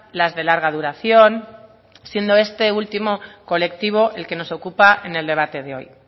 las de larga duración siendo este último colectivo el que nos ocupa en el debate de hoy